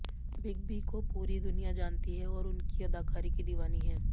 big B को पूरी दुनिया जानती है और उनकी अदाकारी की दीवानी है